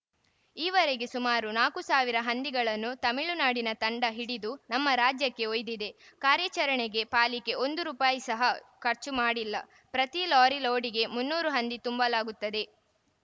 ಈವರೆಗೆ ಸುಮರು ನಾಲ್ಕು ಸಾವಿರ ಹಂದಿಗಳನ್ನು ತಮಿಳುನಾಡಿನ ತಂಡ ಹಿಡಿದು ತಮ್ಮ ರಾಜ್ಯಕ್ಕೆ ಒಯ್ದಿದೆ ಕಾರ್ಯಾಚರಣೆಗೆ ಪಾಲಿಕೆ ಒಂದು ರುಪಾಯಿ ಸಹ ಖರ್ಚು ಮಾಡಿಲ್ಲ ಪ್ರತಿ ಲಾರಿ ಲೋಡ್‌ಗೆ ಮುನ್ನೂರು ಹಂದಿ ತುಂಬಲಾಗುತ್ತದೆ